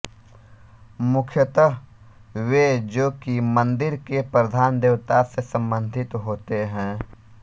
मुख्यतः वे जो कि मन्दिर के प्रधान देवता से सम्बन्धित होते हैं